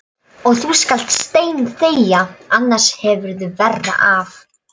Og þú skalt steinþegja, annars hefurðu verra af.